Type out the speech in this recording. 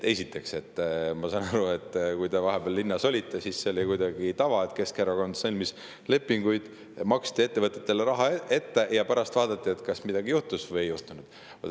Ma saan aru, et kui te vahepeal linnas olite, siis oli tava, et Keskerakond sõlmis lepingud, maksis ettevõtetele raha ette ja pärast vaadati, kas midagi juhtus või ei juhtunud.